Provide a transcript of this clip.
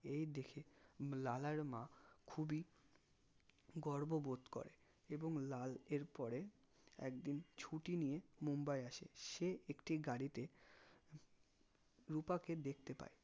এই দেখে লালার মা খুবই গর্ববোধ করে এবং লাল এরপরে একদিন ছুটি নিয়ে মুম্বাই আসে সে একটি গাড়িতে রুপাকে দেখতে পাই